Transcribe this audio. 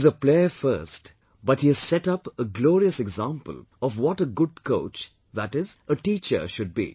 He is a player first but he has set up a glorious example of what a good coach, that is, a teacher should be